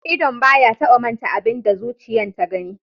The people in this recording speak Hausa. Idon ba ya taba manta da abin da zuciyan ta gani.